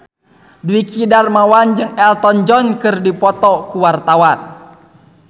Dwiki Darmawan jeung Elton John keur dipoto ku wartawan